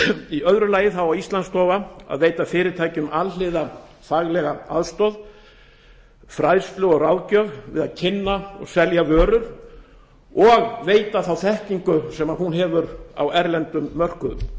í öðru lagi á íslandsstofa að veita fyrirtækjum alhliða faglega aðstoð fræðslu og ráðgjöf við að kynna og selja vörur og veita þá þekkingu sem hún hefur á erlendum mörkuðum